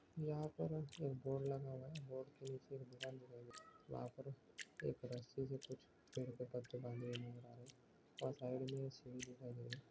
यहाँ पर एक बोर्ड लगा हुआ है बोर्ड के नीचे एक दुकान दिखाई दे रही है वहाँ पर एक रस्सी से कुछ पेड़ के कत्थे बंधे हुए नज़र आ रहे साइड में एक सीढ़ी दिखाई दे रही